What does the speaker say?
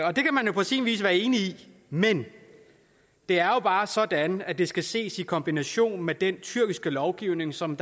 og det kan man jo på sin vis være enig i men det er jo bare sådan at det skal ses i kombination med den tyrkiske lovgivning som